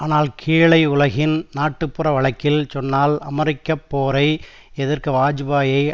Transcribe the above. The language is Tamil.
ஆனால் கீழை உலகின் நாட்டுப்புற வழக்கில் சொன்னால் அமெரிக்க போரை எதிர்க்க வாஜ்பாயியை